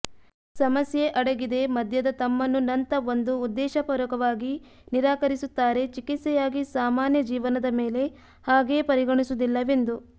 ಸಮಸ್ಯೆ ಅಡಗಿದೆ ಮದ್ಯದ ತಮ್ಮನ್ನು ನಂಥ ಒಂದು ಉದ್ದೇಶಪೂರ್ವಕವಾಗಿ ನಿರಾಕರಿಸುತ್ತಾರೆ ಚಿಕಿತ್ಸೆಯಾಗಿ ಸಾಮಾನ್ಯ ಜೀವನದ ಮೇಲೆ ಹಾಗೆಯೇ ಪರಿಗಣಿಸುವುದಿಲ್ಲವೆಂದು